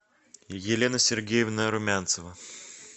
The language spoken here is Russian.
елена сергеевна румянцева